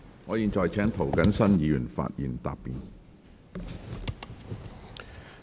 我現在請涂謹申議員發言答辯。